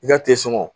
I ka tesɔngɔ